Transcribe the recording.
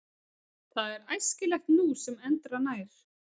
Það er æskilegt nú sem endranær.